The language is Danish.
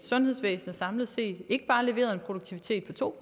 sundhedsvæsenet samlet set ikke bare har leveret en produktivitet på to